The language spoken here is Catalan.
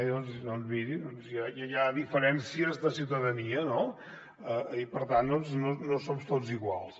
doncs miri ja hi ha diferències de ciutadania no i per tant no som tots iguals